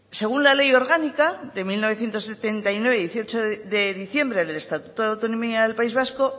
según la ley orgánica de mil novecientos setenta y nueve de dieciocho de diciembre del estatuto de autonomía del país vasco